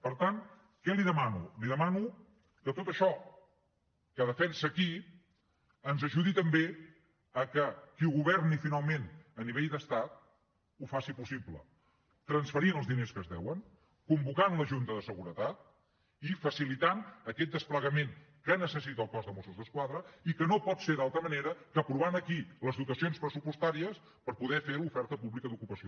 per tant què li demano li demano que tot això que defensa aquí ens ajudi també a fer que qui governi finalment a nivell d’estat ho faci possible transferint els diners que es deuen convocant la junta de seguretat i facilitant aquest desplegament que necessita el cos de mossos d’esquadra que no pot ser d’altra manera que aprovant aquí les dotacions pressupostàries per poder fer l’oferta pública d’ocupació